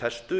festu